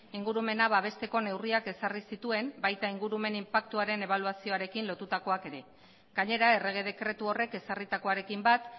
ingurumena babesteko neurriak ezarri zituen baita ingurumen inpaktuaren ebaluazioarekin lotutakoak ere gainera errege dekretu horrek ezarritakoarekin bat